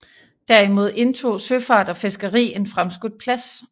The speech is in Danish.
Derimod indtog søfart og fiskeri en fremskudt plads